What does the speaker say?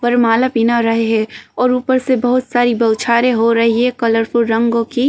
वरमाला पीना रहे हैं और ऊपर से बहौत सारे बौछारें हो रही है कलरफुल रंगों की।